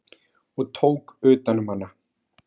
og tók utan um hana.